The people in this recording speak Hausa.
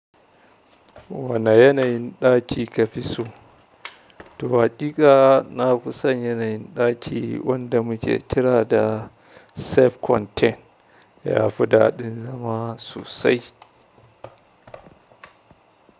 Wane yanayin ɗaki ka fi so? To haƙiƙa nafison yanayin ɗaki wanda muke kira da self-contain. Ya fi daɗin zama sosai.